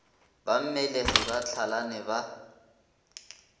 ba mmelegi ba hlalane ba